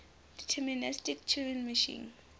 deterministic turing machine